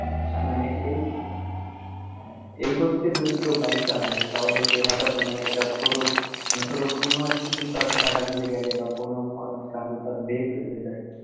এই গতিতে যদি কেউ bike চালায় তাহলে সে হঠাৎ মানে একটা ছোট মানে ছোট কোনো একটা কিছু যদি তার চাকার নিচে গেলে বা কোনো কারণে যদি তার break fail হয়ে যায়